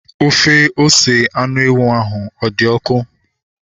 Ofe ose anụ ewu ahu ọ dị ọkụ?